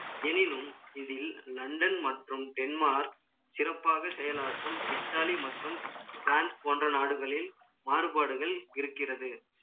எனினும், இதில் londan மற்றும் denmark சிறப்பாக செயலாற்றும், italy மற்றும், France போன்ற நாடுகளில், மாறுபாடுகள் இருக்கிறது.